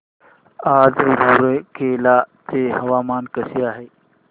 आज रूरकेला चे हवामान कसे आहे